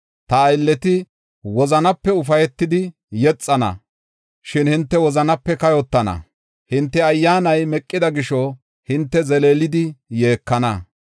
Ta aylleti wozanape ufaytidi yexana, shin hinte wozanape kayotana; hinte ayyaanay meqida gisho, hinte zeleelidi yeekana.